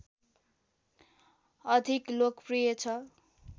अधिक लोकप्रिय छ